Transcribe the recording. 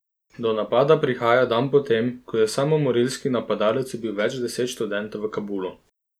Do napada prihaja dan po tem, ko je samomorilski napadalec ubil več deset študentov v Kabulu.